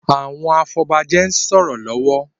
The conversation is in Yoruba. Àwọn afobaje ń sòrò lówó